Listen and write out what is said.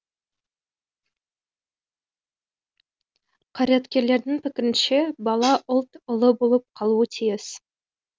қайраткердің пікірінше бала ұлт ұлы болып қалуы тиіс